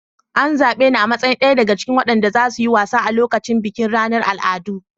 An zabe ni a matsayin daya daga cikin waɗanda za su yi wasa a lokacin bikin ranar al'adu.